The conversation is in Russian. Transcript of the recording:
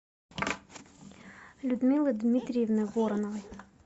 людмилы дмитриевны вороновой